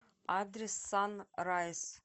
адрес санрайз